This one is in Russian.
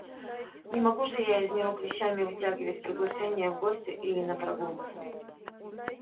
не могу же я из него клещами вытягивать приглашение в гости или на прогулку